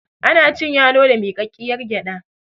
ana cin yalo da mikakkiyar gyada